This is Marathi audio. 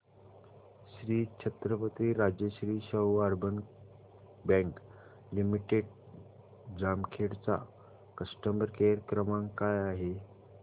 Shri Chhatrapati Rajashri Shahu urban bank limited Jamkhed चा कस्टमर केअर क्रमांक काय आहे